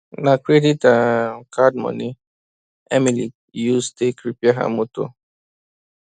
na credit um card moni emily use take repair her moto